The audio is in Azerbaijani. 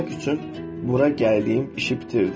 Etmək üçün bura gəldiyim işi bitirdim.